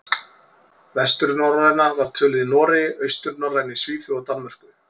Vesturnorræna var töluð í Noregi, austurnorræna í Svíþjóð og Danmörku.